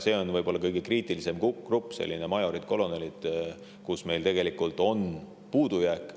See on võib-olla kõige kriitilisem grupp – majorid, kolonelid –, kus meil on puudujääk.